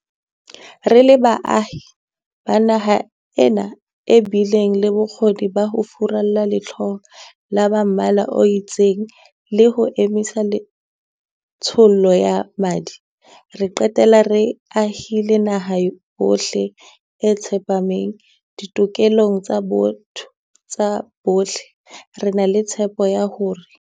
Re le baahi ba naha ena e bileng le bokgoni ba ho furalla lehloyo la ba mmala o itseng le ho emisa tshollo ya madi, ra qetella re ahile naha ya bohle e tsepameng ditokelong tsa botho tsa bohle, re na le tshepo ya hore.